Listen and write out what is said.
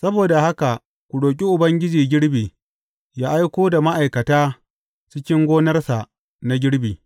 Saboda haka ku roƙi Ubangijin girbi, yă aiko da ma’aikata cikin gonarsa na girbi.